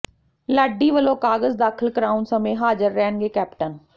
ਲਾਡੀ ਵੱਲੋਂ ਕਾਗਜ਼ ਦਾਖ਼ਲ ਕਰਾਉਣ ਸਮੇਂ ਹਾਜ਼ਰ ਰਹਿਣਗੇ ਕੈਪਟਨ